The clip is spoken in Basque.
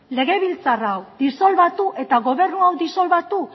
legebiltzar hau disolbatu eta gobernu hau disolbatu